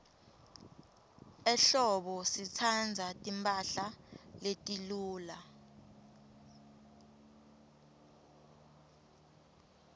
ehlobo sitsandza timphahla letiluca